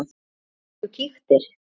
Fórstu ekki og kíktir?